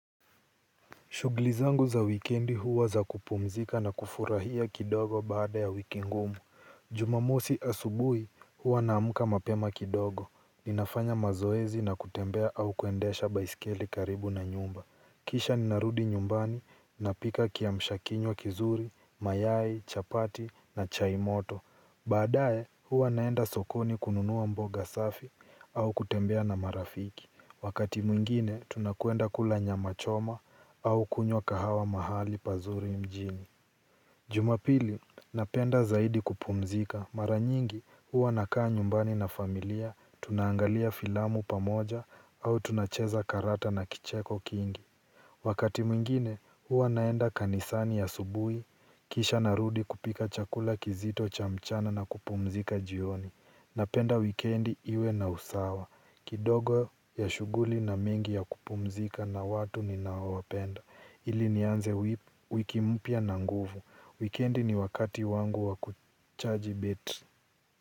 Shughuli zangu za wikendi huwa za kupumzika na kufurahia kidogo baada ya wiki ngumu. Jumamosi asubuhi huwa naamka mapema kidogo. Ninafanya mazoezi na kutembea au kuendesha baisikeli karibu na nyumba. Kisha ninarudi nyumbani napika kiamshakinywa kizuri, mayai, chapati na chai moto. Baadaye, huwa naenda sokoni kununua mboga safi au kutembea na marafiki. Wakati mwingine, tunakwenda kula nyama choma au kunywa kahawa mahali pazuri mjini. Jumapili, napenda zaidi kupumzika. Maranyingi, huwa nakaa nyumbani na familia, tunaangalia filamu pamoja au tunacheza karata na kicheko kingi. Wakati mwingine, huwa naenda kanisani asubuhi, kisha narudi kupika chakula kizito cha mchana na kupumzika jioni. Napenda wikendi iwe na usawa. Kidogo ya shughuli na mingi ya kupumzika na watu ninaowapenda. Ili nianze wiki mpya na nguvu. Wikendi ni wakati wangu wa kuchaji betri.